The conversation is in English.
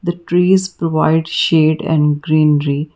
the trees provide shade and greenery.